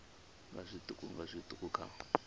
nga zwiṱuku nga zwiṱuku kha